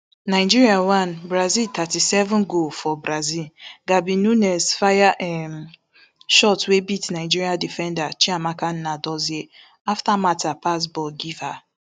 nigeria one brazil thirty-seven goal for brazil gabi nunes fire um shot wey beat nigeria defender chiamaka nnadozie afta martha pass ball give her